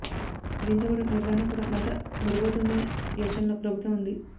దీంతో పాటు నిర్వహణ కూడా మరింత మెరుగవుతుందనే యోచనలో ప్రభుత్వం ఉంది